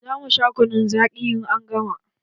Za mu sha kunun zaƙi, in an gama.